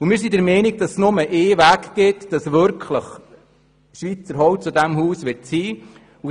Wir sind der Meinung, es gebe nur einen Weg, dass schlussendlich das Haus mit Schweizer Holz gebaut wird.